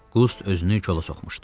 Qust özünü kola soxmuşdu.